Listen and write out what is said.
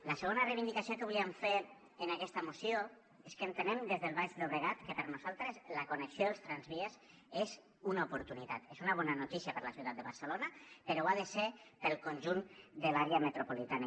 la segona reivindicació que volíem fer en aquesta moció és que entenem des del baix llobregat que per nosaltres la connexió dels tramvies és una oportunitat és una bona notícia per a la ciutat de barcelona però ho ha de ser per al conjunt de l’àrea metropolitana